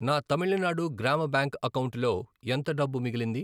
నా తమిళనాడు గ్రామ బ్యాంక్ అకౌంటులో ఎంత డబ్బు మిగిలింది?